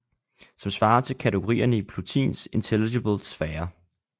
Som svarer til kategorierne i plotins intelligible sfære